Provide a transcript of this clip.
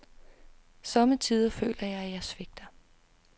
Somme tider føler jeg, at jeg svigter.